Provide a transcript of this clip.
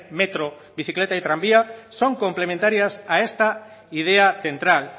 metro bicicleta y tranvía son complementarias a esta idea central